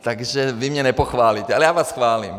Takže vy mě nepochválíte, ale já vás chválím.